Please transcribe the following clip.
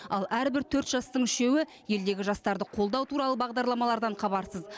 ал әрбір төрт жастың үшеуі елдегі жастарды қолдау туралы бағдарламалардан хабарсыз